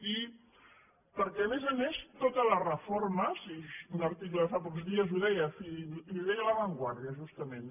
i perquè a més a més tota la reforma i un article de fa pocs dies ho deia i ho deia la vanguardiatament